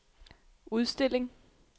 udstilling